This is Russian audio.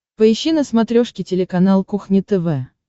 поищи на смотрешке телеканал кухня тв